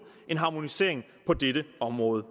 en harmonisering på dette område